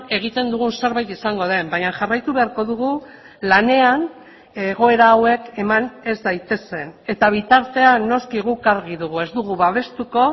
egiten dugun zerbait izango den baina jarraitu beharko dugu lanean egoera hauek eman ez daitezen eta bitartean noski guk argi dugu ez dugu babestuko